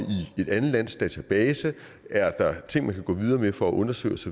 i et andet lands database er der ting man kan gå videre med at få undersøgt